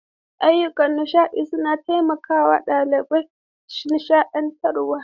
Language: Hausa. Ayyukan nishaɗi suna taimakawa ɗalibai shakatawa.